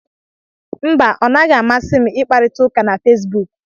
Mba, ọ naghị amasị m ị kparita ụka na Fesbuk.